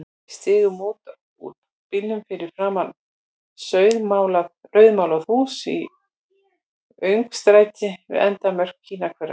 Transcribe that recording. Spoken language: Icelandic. Við stigum út úr bílnum fyrir framan rauðmálað hús í öngstræti við endamörk Kínahverfisins.